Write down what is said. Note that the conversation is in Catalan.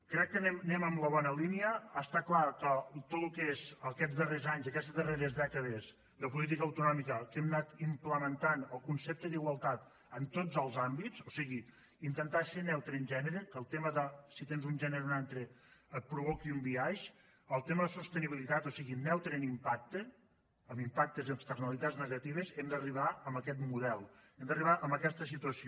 crec que anem en la bona línia està clar que tot el que és aquests darrers anys i aquestes darreres dècades de política autonòmica que hem anat implementant el concepte d’igualtat en tots els àmbits o sigui intentar ser neutre en gènere que el tema de si tens un gènere o un altre et provoqui un biaix el tema de sostenibilitat o sigui neutre en impacte en impactes i externalitats negatives hem d’arribar a aquest model hem d’arribar a aquesta situació